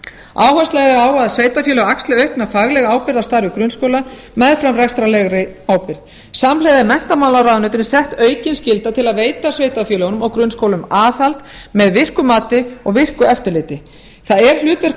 áhersla er lögð á að sveitarfélög axli aukna faglega ábyrgð á starfi grunnskóla meðfram rekstrarlegri ábyrgð samhliða er menntamálaráðuneytinu sett aukin skylda til að veita sveitarfélögunum og grunnskólum aðhald með virku mati og virku eftirliti það er hlutverk